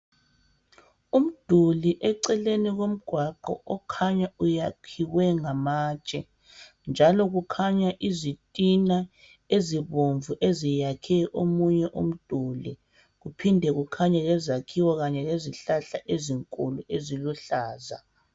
Umduli eceleni komgwaqo okhanya uyakhiwe ngamatshe njalo kukhanya izitina ezibomvu eziyakhe omunye umduli kuphinde kukhanye lezakhiwo kanye lezihlahla ezinkulu eziluhlaza